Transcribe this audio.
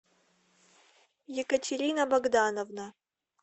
екатерина богдановна